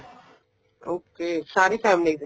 okay ਸਾਰੀ family ਦੇ